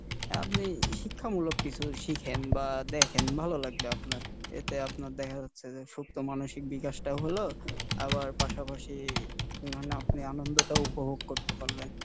আপনি শিক্ষামূলক কিছু শিখেন বা দেখেন ভালো লাগবে আপনার, এতে আপনার দেখা যাচ্ছে যে সুপ্ত মানসিক বিকাশ টাও হলো আবার পাশাপাশি মানে আপনি আনন্দটাও উপভোগ করতে পারলেন।